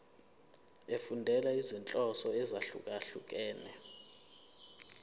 efundela izinhloso ezahlukehlukene